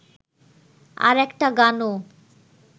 আর একটা গানও